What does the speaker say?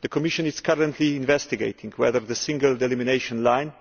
The Commission is currently investigating whether the single delimination line